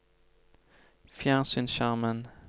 fjernsynsskjermen